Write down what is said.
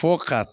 Fo ka